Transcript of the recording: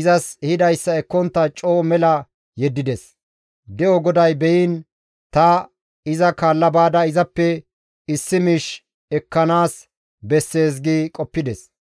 izas ehidayssa ekkontta coo mela yeddides; de7o GODAY beyiin ta iza kaalla baada izappe issi miish ekkanaas bessees» gi qoppides.